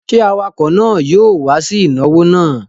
Ṣé awakọ̀ náà yóò wá sí ìnáwó náà?